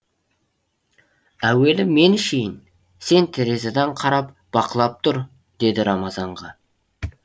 әуелі мен ішейін сен терезеден қарап бақылап тұр деді рамазанға